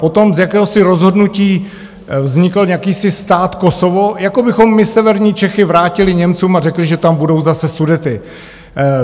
Potom z jakéhosi rozhodnutí vznikl jakýsi stát Kosovo, jako bychom my severní Čechy vrátili Němcům a řekli, že tam budou zase Sudety.